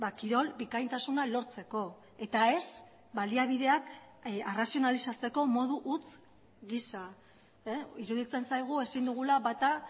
kirol bikaintasuna lortzeko eta ez baliabideak arrazionalizatzeko modu huts gisa iruditzen zaigu ezin dugula bata